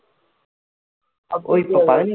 ஓ இப்போ பதி~